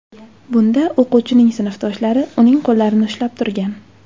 Bunda o‘quvchining sinfdoshlari uning qo‘llarini ushlab turgan.